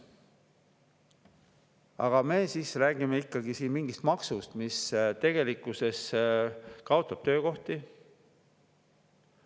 Aga me räägime siin ikkagi mingist maksust, mis tegelikkuses kaotab töökohti.